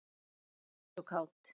Alltaf hress og kát.